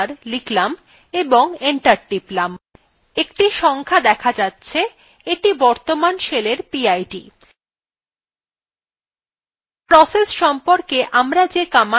একটি সংখ্যা দেখা যাচ্ছে এইটি বর্তমান শেলের পিআইডি